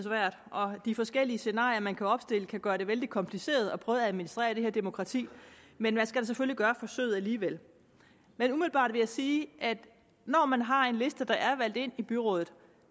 og de forskellige scenarier man kan opstille kan gøre det vældig kompliceret at prøve at administrere demokratiet men man skal selvfølgelig gøre forsøget alligevel men umiddelbart vil jeg sige at når man har en liste der er valgt ind i byrådet